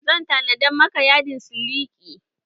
Zan tanada maka yadin siliki